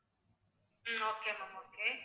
um okay ma'am okay